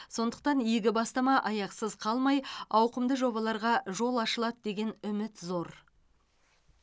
сондықтан игі бастама аяқсыз қалмай ауқымды жобаларға жол ашылады деген үміт зор